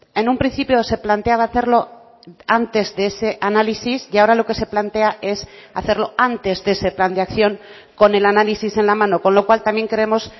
en un principio se planteaba hacerlo antes de ese análisis y ahora lo que se plantea es hacerlo antes de ese plan de acción con el análisis en la mano con lo cual también creemos